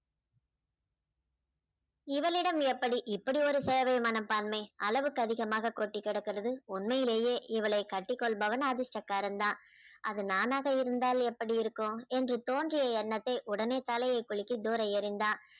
இவளிடம் எப்படி இப்படி ஒரு சேவை மனப்பான்மை அளவுக்கு அதிகமாக கொட்டிக்கிடக்கிறது உண்மையிலேயே இவளை கட்டிக்கொள்பவன் அதிர்ஷ்டக்காரன் தான் அது நானாக இருந்தால் எப்படி இருக்கும் என்று தோன்றிய எண்ணத்தை உடனே தலையை குலுக்கி தூர எறிந்தான்